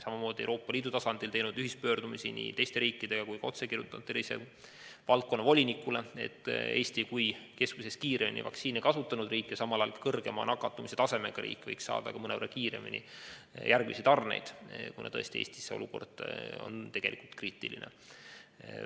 Samamoodi oleme Euroopa Liidu tasandil teinud koos teiste riikidega nii ühispöördumisi kui ka kirjutanud otse tervisevaldkonna volinikule, et Eesti kui keskmisest kiiremini vaktsiine kasutanud riik ja samal ajal üks kõrgeima nakatumistasemega riik võiks saada järgmised tarned mõnevõrra kiiremini, kuna tõesti Eestis on olukord tegelikult kriitiline.